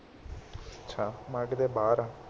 ਅੱਛਾ ਮੈਂ ਕਿਹਾ ਕਿਤੇ ਬਾਹਰ ਆ